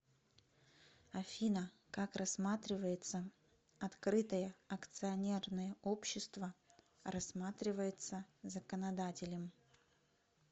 афина как рассматривается открытое акционерное общество рассматривается законодателем